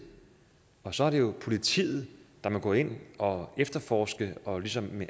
og så er det jo politiet der må gå ind og efterforske og ligesom i